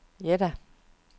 Jeddah